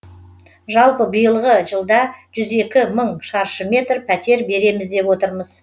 жалпы биылғы жылда жүз екі мың мың шаршы метр пәтер береміз деп отырмыз